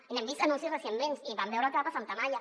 i n’hem vist anuncis recentment i vam veure el que va passar amb tamaia